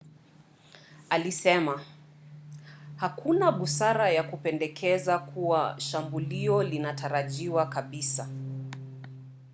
alisema hakuna busara ya kupendekeza kuwa shambulio linatarajiwa kabisa